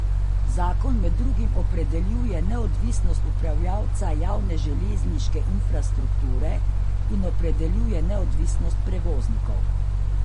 Zakon med drugim opredeljuje neodvisnost upravljavca javne železniške infrastrukture in opredeljuje neodvisnost prevoznikov.